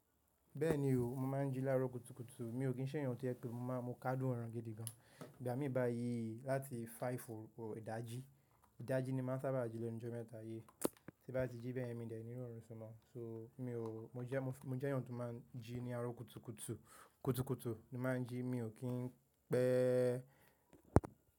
Bẹ́ẹ̀ni o, mo máa ń jí lára kùtùkùtù, mi ò kí ń ṣẹ̀ ẹ̀eyan tó jẹ pé mo máa mo káádùn ọ̀run gidi gan. Ìgbà mí bá yí láti five o'clock idájí, ìdájí ni màá sábà jí lẹ́nu ijo mẹ́ta yìí. Tí bá ti jí bẹ́yẹ̀n mi dè ní rọrùn sun mo, so mi ò mo jẹ́, mo jẹ́ èèyàn tó máa ń jí ní àárọ̀ kùtùkùtù, kùtùkùtù ni màá ń jí, mi ò kí ń pẹ́.